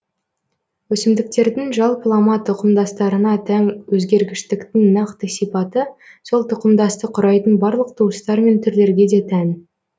өсімдіктердің жалпылама тұқымдастарына тән өзгергіштіктің нақты сипаты сол тұқымдасты құрайтын барлық туыстар мен түрлерге де тән